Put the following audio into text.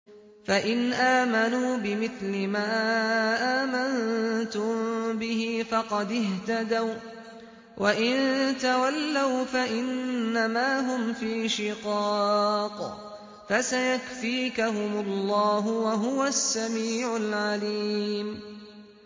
فَإِنْ آمَنُوا بِمِثْلِ مَا آمَنتُم بِهِ فَقَدِ اهْتَدَوا ۖ وَّإِن تَوَلَّوْا فَإِنَّمَا هُمْ فِي شِقَاقٍ ۖ فَسَيَكْفِيكَهُمُ اللَّهُ ۚ وَهُوَ السَّمِيعُ الْعَلِيمُ